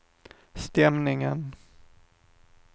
stämningen